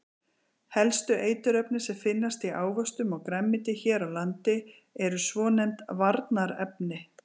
Helstu eiturefni sem finnast í ávöxtum og grænmeti hér á landi eru svonefnd varnarefni.